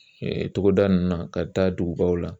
togoda ninnu na ka taa dugubaw la